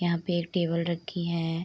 यहाँ पे एक टेबल रखी है।